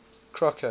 crocker